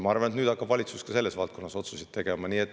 Ma arvan, et nüüd hakkab valitsus ka selles valdkonnas otsuseid tegema.